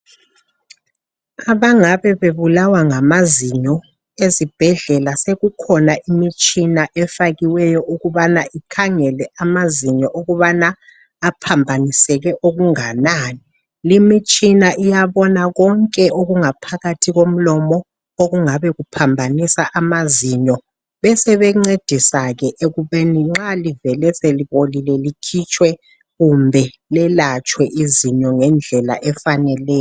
Abangabe bebulawa ngamazinyo ezibhedlela sokukhona imitshina efakiweyo ukubana ikhangela amazinyo ukubana aphambaniseke okunganani limitshina iyabona konke okungaphakathi komlomo okungabe kuphambanisa amazinyo besebencedisa ke ekubeni nxa livele selibolile likhitshwe kumbe lelatshwe izinyo ngendlela efaneleyo.